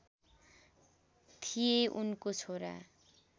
थिए उनको छोरा